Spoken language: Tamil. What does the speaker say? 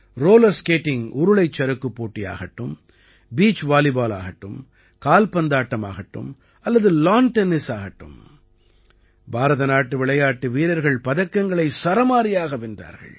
ரோலர் ஸ்கேட்டிங் உருளைச் சறுக்குப் போட்டி ஆகட்டும் பீச் வாலிபால் ஆகட்டும் கால்பந்தாட்டம் ஆகட்டும் அல்லது லான் டென்னிஸ் ஆகட்டும் பாரத நாட்டு விளையாட்டு வீரர்கள் பதக்கங்களை சரமாரியாக வென்றார்கள்